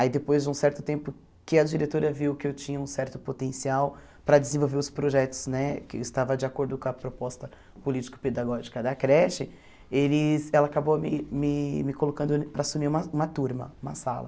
Aí depois de um certo tempo que a diretora viu que eu tinha um certo potencial para desenvolver os projetos né, que eu estava de acordo com a proposta político-pedagógica da creche, eles ela acabou me me me colocando para assumir uma uma turma, uma sala.